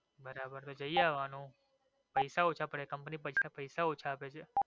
બરાબર તો જઈ આવા નું પૈસા ઓછા પડે. company પૈસા પૈસા ઓછા આપે છે.